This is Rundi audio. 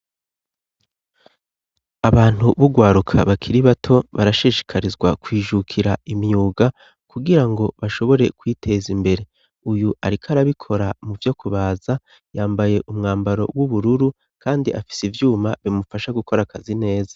Abantu b'Urwaruka bakiri bato barashishikarizwa kwijukira imyuga, kugira ngo bashobore kwiteza imbere. Uyu ariko arabikora mu vyokubaza, yambaye umwambaro w'ubururu kandi afise ivyuma bimufasha gukora akazi neza.